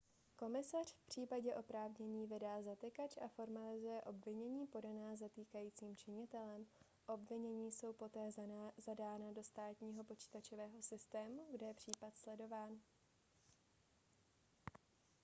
komisař v případě oprávnění vydá zatykač a formalizuje obvinění podaná zatýkajícím činitelem obvinění jsou poté zadána do státního počítačového systému kde je případ sledován